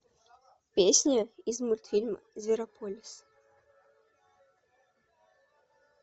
песни из мультфильма зверополис